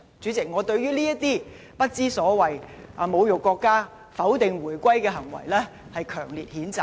主席，對於這些不知所謂、侮辱國家、否定回歸的行為，我予以強烈譴責。